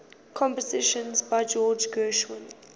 compositions by george gershwin